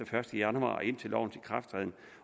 første januar og indtil lovens ikrafttræden